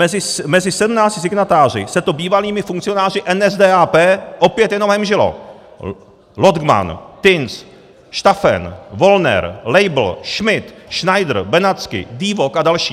Mezi sedmnácti signatáři se to bývalými funkcionáři NSDAP opět jenom hemžilo: Logdman, Tins, Staffen, Wollner, Leibl, Schmidt, Schneider, Benatzky, Diewock a další.